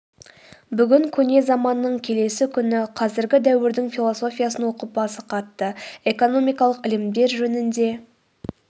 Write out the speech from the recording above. бүгін көне заманның келесі күні қазіргі дәуірдің философиясын оқып басы қатты экономикалық ілімдер жөнінде